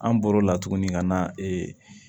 An bɔr'o la tuguni ka na